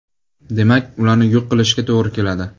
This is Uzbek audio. Demak, ularni yo‘q qilishga to‘g‘ri keladi.